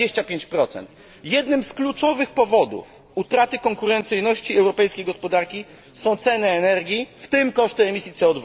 25. Jednym z kluczowych powodów utraty konkurencyjności europejskiej gospodarki są ceny energii, w tym koszty emisji CO